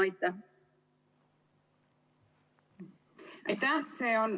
Aitäh!